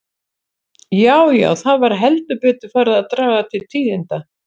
Já, já, það var heldur betur farið að draga til tíðinda!